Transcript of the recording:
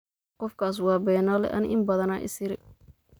Qofkas wa Benale , ani inbadaan isire.